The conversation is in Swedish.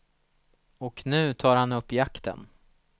Och nu tar han upp jakten.